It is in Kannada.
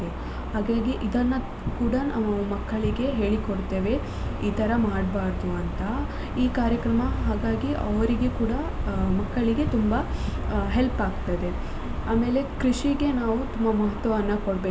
ಹಾಗಾಗಿ ಇದನ್ನ ಕೂಡ ನಾವು ಮಕ್ಕಳಿಗೆ ಹೇಳಿ ಕೊಡ್ತೇವೆ ಈ ತರ ಮಾಡ್ಬಾರ್ದು ಅಂತ ಈ ಕಾರ್ಯಕ್ರಮ ಹಾಗಾಗಿ ಅವರಿಗೆ ಕೂಡ ಮಕ್ಕಳಿಗೆ ತುಂಬಾ help ಆಗ್ತದೆ ಆಮೇಲೆ ಕೃಷಿಗೆ ನಾವು ತುಂಬ ಮಹತ್ವವನ್ನ ಕೊಡ್ಬೇಕಾಗುತ್ತೆ.